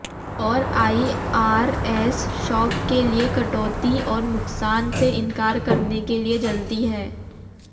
और आईआरएस शौक के लिए कटौती और नुकसान से इनकार करने के लिए जल्दी है